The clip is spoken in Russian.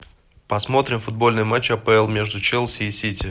посмотрим футбольный матч апл между челси и сити